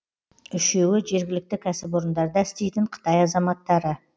үшеуі жергілікті кәсіпорындарда істейтін қытай азаматтары